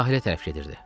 Sahilə tərəf gedirdi.